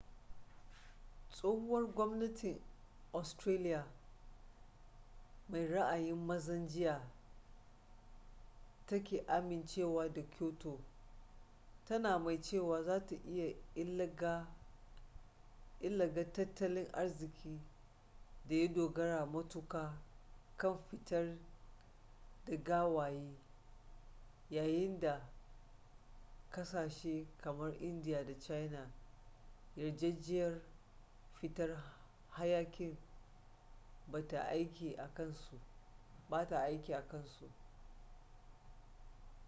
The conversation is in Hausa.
tsohuwar gwamnatin australia mai ra'ayin mazan jiya ta ki amincewa da kyoto tana mai cewa za ta yi illaga tattalin arzikin da ya dogara matuƙa kan fitar da gawayi yayin da ƙasashe kamar india da china yarjejeniyar fitar hayaƙin ba ta aiki a kansu